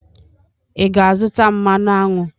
Ị ga-azụta mmanụ aṅụ?